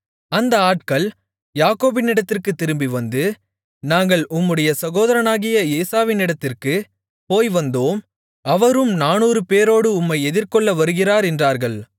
அந்த ஆட்கள் யாக்கோபினிடத்திற்குத் திரும்பிவந்து நாங்கள் உம்முடைய சகோதரனாகிய ஏசாவினிடத்திற்குப் போய்வந்தோம் அவரும் நானூறு பேரோடு உம்மை எதிர்கொள்ள வருகிறார் என்றார்கள்